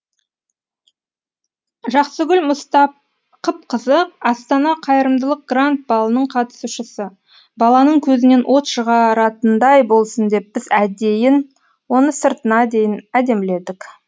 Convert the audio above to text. жақсыгүл мұстақыпқызы астана қайырымдылық гранд балының қатысушысы баланың көзінен от шығаратындай болсын деп біз әдейі оны сыртына дейін әдеміледік